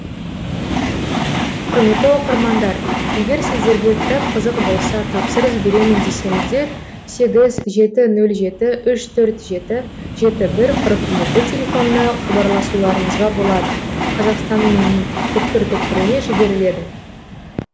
құрметті оқырмандар егер сіздерге кітап қызық болса тапсырыс беремін десеңіздер сегіз жеті нөл жеті үш төрт жеті жеті бір қырық жеті телефонына хабарласуларыңызға болады қазақстан түкпір түкпіріне жіберіледі